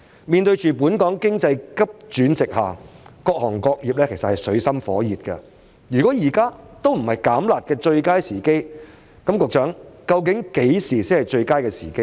面對本港經濟急轉直下，各行各業也在水深火熱之中，如果現在都不是"減辣"的最佳時機，局長，那麼何時才是最佳時機呢？